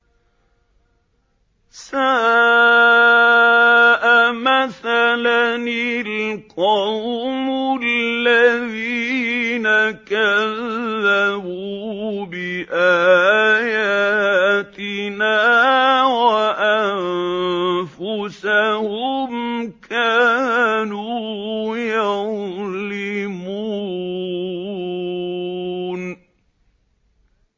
سَاءَ مَثَلًا الْقَوْمُ الَّذِينَ كَذَّبُوا بِآيَاتِنَا وَأَنفُسَهُمْ كَانُوا يَظْلِمُونَ